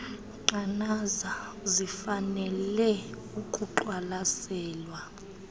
nqanaba zifanele ukuqwalaselwa